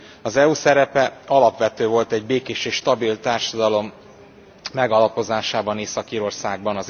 Az EU szerepe alapvető volt egy békés és stabil társadalom megalapozásában Észak Írországban.